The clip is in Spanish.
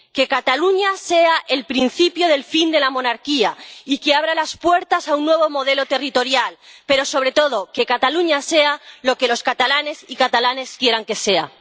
Que Cataluña sea el principio del fin de la monarquía y que abra las puertas a un nuevo modelo territorial, pero, sobre todo, que Cataluña sea lo que los catalanes y catalanas quieran que sea.